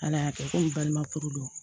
Ala y'a kɛ komi balima furu don